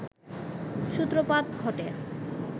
সূত্রপাত ঘটে